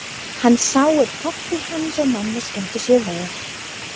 Hann sá að pabbi hans og mamma skemmtu sér vel.